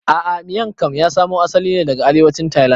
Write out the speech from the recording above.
A'a Miang kam ya samo asali ne daga arewacin tailand